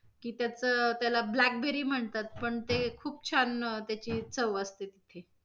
की त्याचं त्याला black berry म्हणतात पण ते, खूप छान त्याची चव असते.